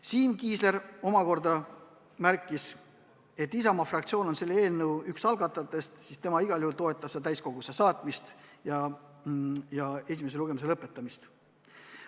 Siim Kiisler märkis, et Isamaa fraktsioon on üks selle eelnõu algatajaid ja tema igal juhul toetab selle täiskogusse saatmist ja esimese lugemise lõpetamist.